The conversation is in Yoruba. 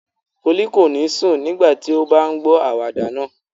Folú kò ní sùn nígbà tí ó bá ń gbọ àwàdà náà.